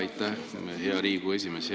Aitäh, hea Riigikogu esimees!